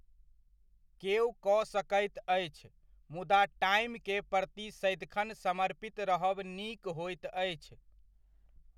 केओ कऽ सकैत अछि मुदा टाइम के प्रति सदिखन समर्पित रहब नीक होइत अछि।